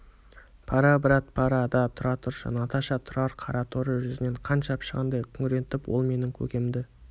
пора брат пора да тұра тұршы наташа тұрар қараторы жүзіне қан шапшығандай күреңітіп ол менің көкемді